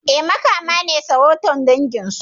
E, Makama ne sarautar dangin su.